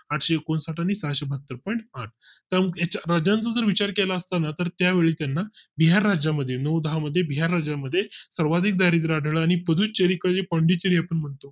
आठशे एकोणसाठ बहात्तर point आठ विचार केला असता तर त्यावेळी त्यांना बिहार राज्या मध्ये नऊ दहा मध्ये बिहार राज्या मध्ये सर्वाधिकदारिद्र आणि पुडुचेरी पांडिचेरी आपण म्हणतो